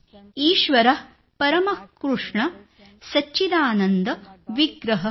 ईश्वरः परमः कृष्णः सच्चिदानन्द विग्रहः